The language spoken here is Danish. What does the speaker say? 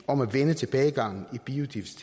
om at vende tilbagegangen